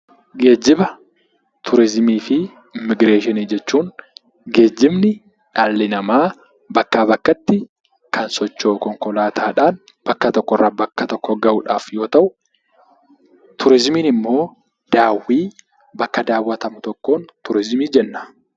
Geejjiba, turizimii fi Immigireeshinii jechuun geejjibni dhalli namaa bakkaa bakkatti kan socho'u konkolaataadhaan bakka tokkorraa bakka tokko gahuudhaaf yoo ta'u, turizimiin immoo bakka daawwatamu tokkoon turizimii jenna.